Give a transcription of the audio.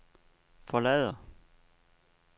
forlader